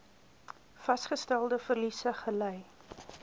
vasgestelde verliese gely